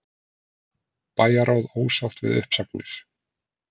Bæjarráð ósátt við uppsagnir